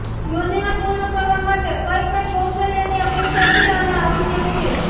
યોજના પૂર્ણ કરવા માટે કઇ કઇ કૌશલ્યની અપેક્ષા છે અને આવશ્યક છે